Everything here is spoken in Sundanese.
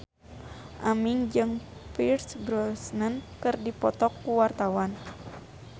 Aming jeung Pierce Brosnan keur dipoto ku wartawan